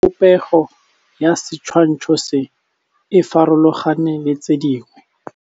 Popêgo ya setshwantshô se, e farologane le tse dingwe.